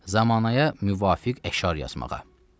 Zəmanəyə müvafiq əşar yazmağa.